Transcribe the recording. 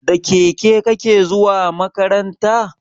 Da keke kake zuwa makaranta?